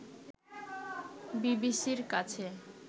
বিবিসির কাছে